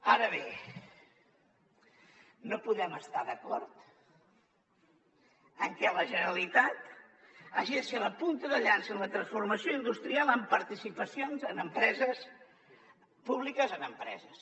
ara bé no podem estar d’acord en que la generalitat hagi de ser la punta de llança en la transformació industrial amb participacions públiques en empreses